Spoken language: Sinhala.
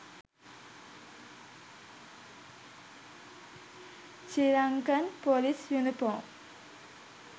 sri lankan police uniform